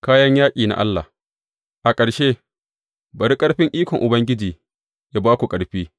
Kayan yaƙi na Allah A ƙarshe, bari ƙarfin ikon Ubangiji yă ba ku ƙarfi.